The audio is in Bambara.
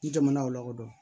Ni jamana o lakɔdɔn